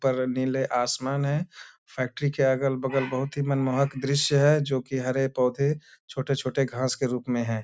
ऊपर नीले आसमान हैं। फैक्ट्री के अगल-बगल बहुत ही मनमोहक दृश्य है जो की हरे पौधे छोटे-छोटे घास के रूप में हैं।